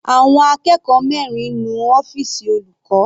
Àwọn akẹ́kọ̀ọ́ mẹrin nu ọ́fìsì olùkọ́.